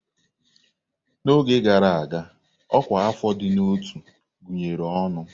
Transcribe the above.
N'oge gara aga, Ọkwa afọ ịdị na ọtú gụnyere ọnụ.